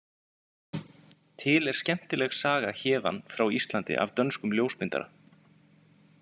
Til er skemmtileg saga héðan frá Íslandi af dönskum ljósmyndara.